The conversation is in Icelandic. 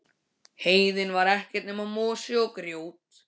Heiðin var ekkert nema mosi og grjót.